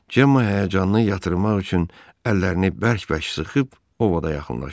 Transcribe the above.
Cemma həyəcanını yatırmaq üçün əllərini bərk-bərk sıxıb Ovada yaxınlaşdı.